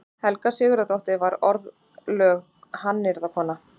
Helga Sigurðardóttir varð orðlögð hannyrðakona.